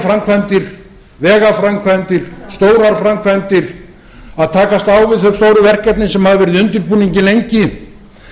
framkvæmdir vegaframkvæmdir stórar framkvæmdir að takast á við þau stóru verkefni sem hafa verið í undirbúningi lengi